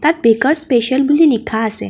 Baker's special বুলি লিখা আছে।